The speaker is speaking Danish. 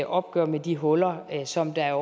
opgør med de huller som der